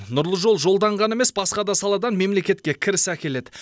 нұрлы жол жолдан ғана емес басқа да саладан мемлекетке кіріс әкеледі